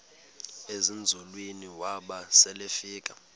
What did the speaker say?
ezinzulwini waba selefika